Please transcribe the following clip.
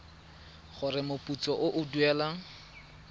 gore moputso o o duelwang